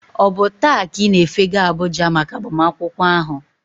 Ọ bụ taa ka ị na-efega Abuja maka agbamakwụkwọ ahụ?